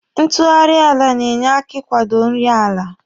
Ntụgharị ala na-enye aka ị kwado nri ala.